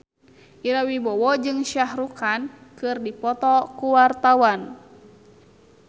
Ira Wibowo jeung Shah Rukh Khan keur dipoto ku wartawan